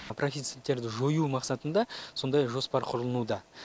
профициттерді жою мақсатында сондай жоспар құрылынуда